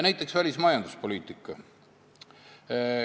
Näiteks välismajanduspoliitika.